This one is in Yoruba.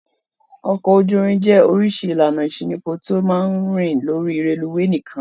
Ọkọ̀ ojú-irin jẹ́ oríṣi ìlànà ìṣínípò tó máa ń rìn lórí rélùúwè nìkan.